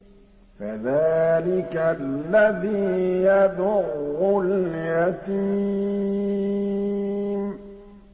فَذَٰلِكَ الَّذِي يَدُعُّ الْيَتِيمَ